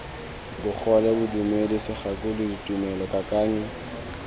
bogole bodumedi segakolodi tumelo kakanyo